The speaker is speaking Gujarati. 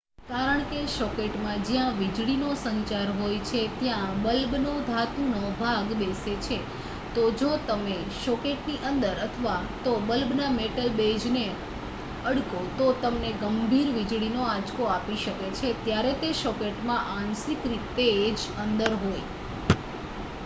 કારણ કે સોકેટમાં જ્યાં વીજળી નો સંચાર હોય છે ત્યાં બલ્બનો ધાતુનો ભાગ બેસે છે તો જો તમે સોકેટની અંદર અથવા તો બલ્બના મેટલ બેઝને અડકો તો તમને ગંભીર વીજળીનો આંચકો આપી શકે છે જ્યારે તે સોકેટમાં આંશિક રીતે જ અંદર હોય